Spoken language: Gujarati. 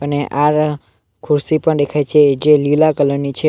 અને આગળ ખુરશી પણ દેખાય છે જે લીલા કલર ની છે.